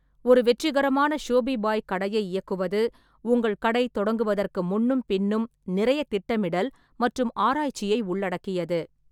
ஒரு வெற்றிகரமான ஷோபிபாய் கடையை இயக்குவது உங்கள் கடை தொடங்குவதற்கு முன்னும் பின்னும் நிறைய திட்டமிடல் மற்றும் ஆராய்ச்சியை உள்ளடக்கியது.